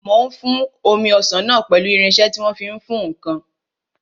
Mò ń fún omi ọsàn náà pẹ̀lú irinsẹ́ tí wọ́n fi ń fún ǹkan